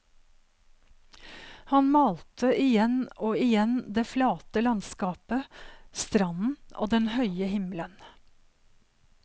Han malte igjen og igjen det flate landskapet, stranden og den høye himmelen.